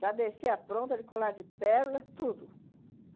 Já descia pronta de colar de pérola, tudo.